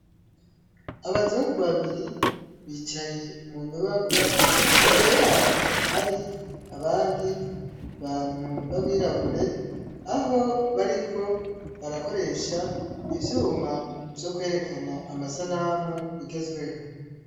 Abazungu babiri bicaye mu nyubakwa imbere yabo hari abandi bantu b' abirabure aho bariko barakoresha ivyuma vyo kwerekana amasanamu bigezweho.